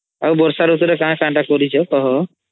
ଆଉ ବର୍ଷା ରୁତୁ ରେ କଣ କଣ ଟା କରିଛ କହ